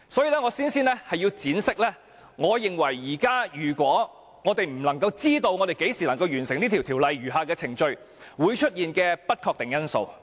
所以，我先要闡釋，我認為如果現時無法知道何時能夠完成此條例的餘下程序，會出現的不確定因素。